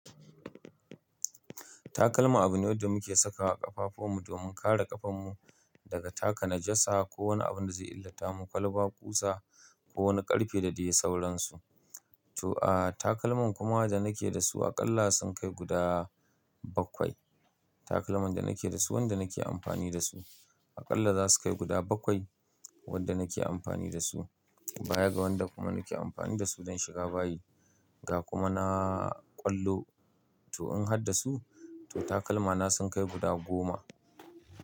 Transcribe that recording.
Takalma abin ne da muke saka wa ƙafafun mu domin kare ƙafan mu daga taka na jasa ko wani abun da zai illata mu, kwalba, ƙusa ko wani ƙarfe da dai sauransu. To aa takalman kuma da nake da su aƙalla sun kai guda bakwai. Takalman da nake da su, wanda nake amfani da su aƙalla za su kai guda bakwai wanda nake amfani da su. Baya ga wanda kuma nake amfani da su don shiga bayi ga kuma na ƙwallo. To in hadda su to takalma na sun kai guda goma.